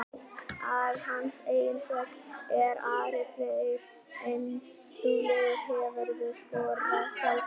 Að hans eigin sögn er Ari Freyr ansi duglegur Hefurðu skorað sjálfsmark?